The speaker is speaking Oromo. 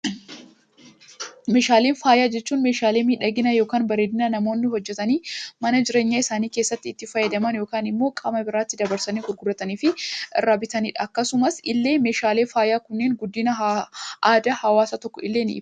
Meeshaalee faayaa jechuun meeshaalee miidhaginaa yookaan bareedinaa namoonni hojjetanii mana jireenyaa isaanii keessatti itti fayyadaman yookaan immoo qaama biraatti dabarsanii gurguratanii fi irraa bitatanidha. Akkasuma illee meeshaalee faayaa kunneen guddina aadaa hawaasa tokkoo illee ni ibsi.